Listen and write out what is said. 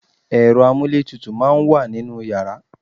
ẹ̀rọ amúlé tutù máà ń wà ninú yàrá